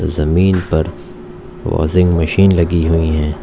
जमीन पर washing machine लगी हुई हैं।